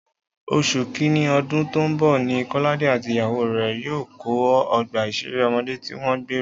Oṣù Kínní ọdún tó ń bọ̀ ni Kọ́ládé àti ìyàwó rẹ̀ yóò kọ́ ọgbà ìṣeré ọmọdé tí wọ́n gbèrò